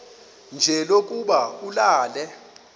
nje lokuba ulale